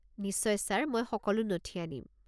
নিশ্চয় ছাৰ! মই সকলো নথি আনিম।